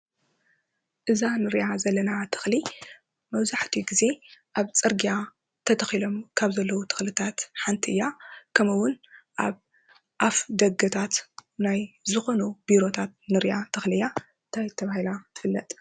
እዛ እንርእያ ዘለና ተክሊ መብዛሕቲኡ ግዜ ኣብ ፅርግያ ተተኪሎም ካብ ዘለው ተክልታት ሓንቲ እያ። ከምኡ እውን ኣብ ኣፍ ደገታት ናይ ዝኮኑ ቢሮታት ንሪኣ ተክሊ እያ። እንታይ ተባህላ ትፍለጥ?